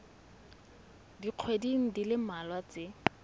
dikgweding di le mmalwa tse